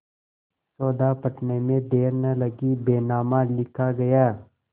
सौदा पटने में देर न लगी बैनामा लिखा गया